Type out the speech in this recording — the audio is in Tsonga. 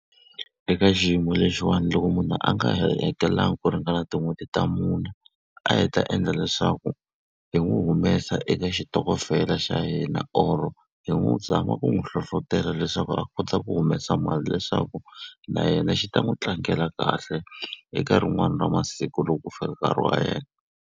Eka xiyimo lexiwani loko munhu a nga hakelanga ku ringana tin'hweti ta mune, a hi ta endla leswaku hi n'wi humesa eka xitokofela xa hina or-o hi n'wi zama ku n'wi hlohletelo leswaku a kota ku humesa mali leswaku na yena xi ta n'wi tlangela kahle eka rin'wani ra masiku loko ku fika nkarhi wa yena.